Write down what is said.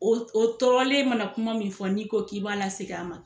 O o tɔɔrɔlen mana kuma min fɔ n'i ko k'i b'a la segin a ma